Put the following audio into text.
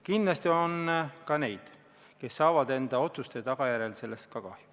Kindlasti on ka neid, kes saavad enda otsuste tagajärjel sellest ka kahju.